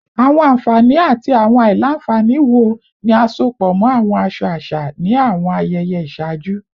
Awọn anfani ati awọn alailanfani wo ni a sopọ mọ awọn aṣọ aṣa ni awọn ayẹyẹ iṣaaju?